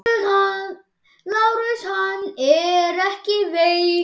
LÁRUS: Hann er ekki veikur!